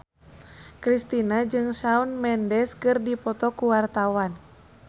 Kristina jeung Shawn Mendes keur dipoto ku wartawan